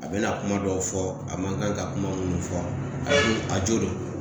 A bɛna kuma dɔw fɔ a ma kan ka kuma minnu fɔ a joona